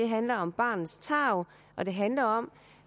handler om barnets tarv og det handler om